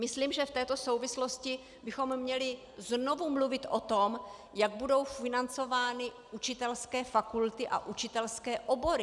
Myslím, že v této souvislosti bychom měli znovu mluvit o tom, jak budou financovány učitelské fakulty a učitelské obory.